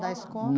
Da escola?